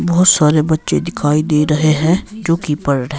बहोत सारे बच्चे दिखाई दे रहे हैं जो कि पढ रहे--